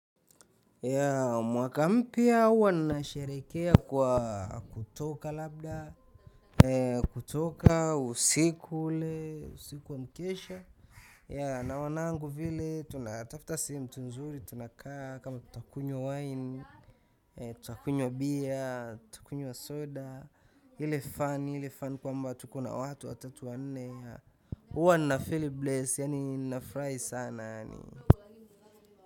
Mwaka mpya huwa ninasherehekea kwa kutoka labda kutoka usiku ule usiku wa mkesha na wanangu vile tunatafuta sehemu tu nzuri tunakaa kama tutakunywa wine, tutakunywa beer, tutakunywa soda ile fun kwamba tuko na watu watatu wanne huwa ninafeel blessed yaani nafurahi sana.